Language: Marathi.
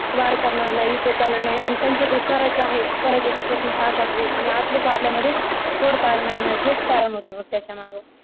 वार करणार नाही, युद्ध करणार नाही आणि त्यांचं जय स्वराज्य आहे ते स्वराज्याच स्वप्न साकार होईल आणि आपलेच आपल्यामध्ये खोड पाडणार नाहीत हेच कारण होतं बघ याच्या माग